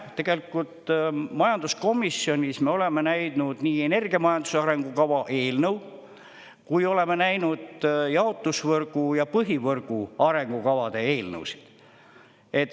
Tegelikult majanduskomisjonis me oleme näinud nii energiamajanduse arengukava eelnõu kui oleme näinud jaotusvõrgu ja põhivõrgu arengukavade eelnõusid.